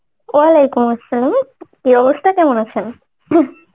Arbi কি অবস্থা? কেমন আছেন? ing